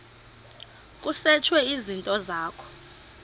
kusetshwe izinto zakho